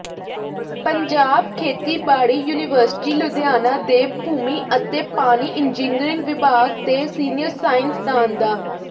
ਪੰਜਾਬ ਖੇਤੀਬਾੜੀ ਯੂਨੀਵਰਸਿਟੀ ਲੁਧਿਆਣਾ ਦੇ ਭੂਮੀ ਅਤੇ ਪਾਣੀ ਇੰਜਿਨੀਅਰੰਗ ਵਿਭਾਗ ਦੇ ਸੀਨੀਅਰ ਸਾਇੰਸਦਾਨ ਡਾ